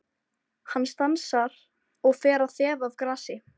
Hann stansar og fer að þefa af grasi.